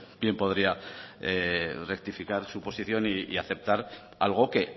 bien podría rectificar su posición y aceptar algo que